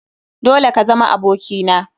Dole ka zama aboki na!